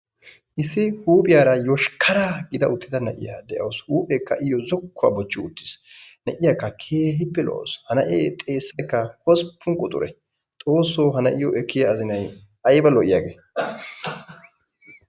Issi huuphiyaara yoshkaraa gida uttida na'iyaa de'awusu huupheekka iyoo zokkuwaa bochchi uttis. Na'iyaakka keehippe lo'awusu ha na'ee xeessaykka hosppun quxure xoosso ha na'iyoo ekkiyaa azinayi ayiba lo'iyaagee!